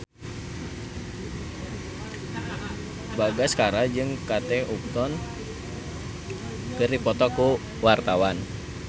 Katon Bagaskara jeung Kate Upton keur dipoto ku wartawan